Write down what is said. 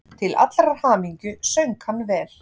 Til allrar hamingju söng hann vel!